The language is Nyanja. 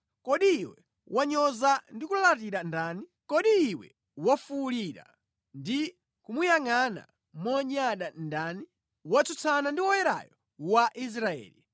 Kodi iwe wanyoza ndi kulalatira ndani? Kodi iwe wafuwulira ndi kumuyangʼana monyada ndani? Watsutsana ndi Woyerayo wa Israeli!